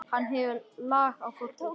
Hann hefur lag á fólki.